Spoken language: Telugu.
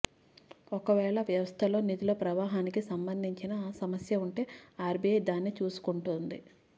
ఒక వేళ వ్యవస్థలో నిధుల ప్రవాహానికి సంబంధించిన సమస్య ఉంటే ఆర్బీఐ దానిని చూసుకొంటుంది